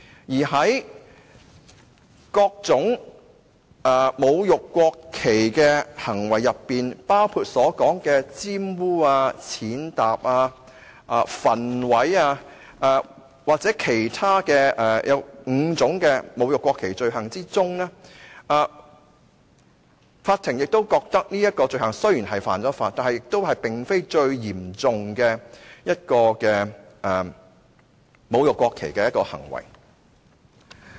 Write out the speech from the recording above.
再者，在各種侮辱國旗的行為當中，包括玷污、踐踏、焚毀或其他侮辱國旗的罪行當中，法庭亦認為這種罪行雖然是犯法，但也並非最嚴重的侮辱國旗行為。